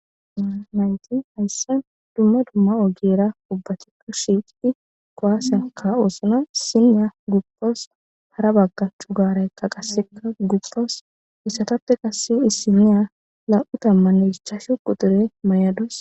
nayti hayssan dumma dumma ogera ubbatikka shiiqidi kuwas ka'oosona issinya gupawus hara bagga corara eqa qasse gupawus issatappe qasse issiniya nam'u tammanne ichchachu qutiure may'adus